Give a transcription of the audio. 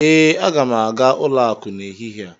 ee, Aga m aga ụlọ akụ n'ehihie a